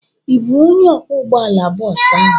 Ị bụ onye ọkwọ ụgbọala bọọsu ahụ?